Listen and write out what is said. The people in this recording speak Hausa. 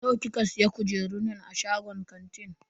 Nawa kika siya kujerun nan a shagon kantin?